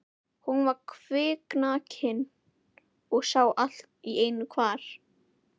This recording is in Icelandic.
Hún var kviknakin og sá allt í einu hvar